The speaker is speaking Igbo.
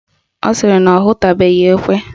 Ọ sịrị na ọ hụtubeghi ekwe